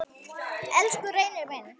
Elsku Reynir minn.